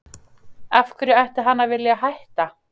Af hverju ætti hann að vilja hætta?